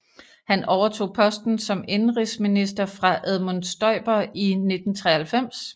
Han overtog posten som indenrigsminister fra Edmund Stoiber i 1993